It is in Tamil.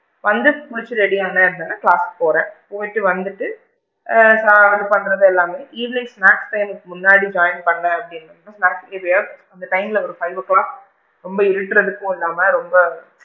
வந்து குளிச்சிட்டு ready ஆனேன் அப்படின்னா class போறேன் போயிட்டு வந்துட்டு ஆ இது பண்றது எல்லாமே evening snacks time கு முன்னாடி join பண்ணேன் அப்படின்னா அந்த time ல ஒரு five o clock ரொம்ப இருட்டுறதுக்கும் இல்லாம ரொம்ப,